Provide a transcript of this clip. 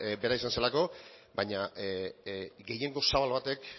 bera izan zelako baina gehiengo zabal batek